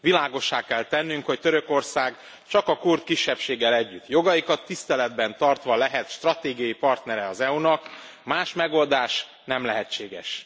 Világossá kell tennünk, hogy Törökország csak a kurd kisebbséggel együtt, jogaikat tiszteletben tartva lehet stratégiai partnere az EU nak, más megoldás nem lehetséges.